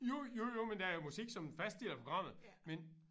Jo jo jo men der er jo musik som en fast del af programmet men